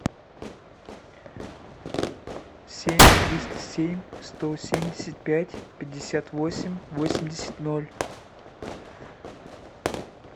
семь триста семь сто семьдесят пять пятьдесят восемь восемьдесят ноль